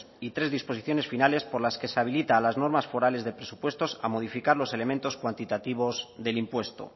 y tres disposiciones finales por las que se habilita a las normas forales de presupuestos a modificar los elementos cuantitativos del impuesto